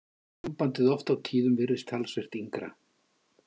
Sambandið oft á tíðum virðist talsvert yngra.